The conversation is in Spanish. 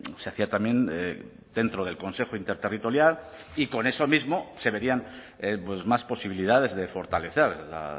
se hacía también dentro del consejo interterritorial y con eso mismo se verían más posibilidades de fortalecer la